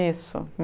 Isso.